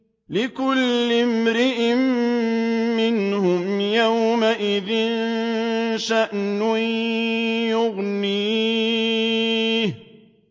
لِكُلِّ امْرِئٍ مِّنْهُمْ يَوْمَئِذٍ شَأْنٌ يُغْنِيهِ